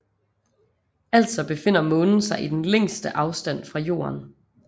Altså befinder Månen sig i den længste afstand fra Jorden